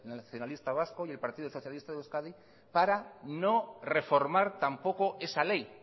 nacionalista vasco y el partido socialista de euskadi para no reformar tampoco esa ley